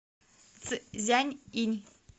цзянъинь